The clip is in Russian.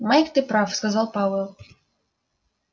майк ты прав сказал пауэлл